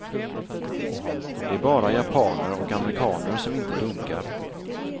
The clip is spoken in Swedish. Det är bara japaner och amerikaner som inte dunkar.